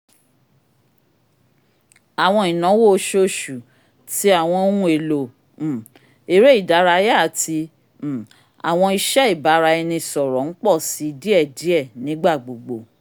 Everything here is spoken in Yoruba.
awọn ìnáwó oṣooṣu ti awọn ohùn èlò um eré ìdárayá àti um àwọn iṣẹ ibaraẹnisọrọ n pọ si diėdiė nigbagbogbo